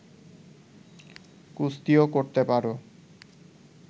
কুস্তিও করতে পার